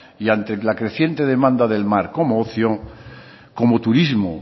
y ante la creciente demanda del mar como ocio como turismo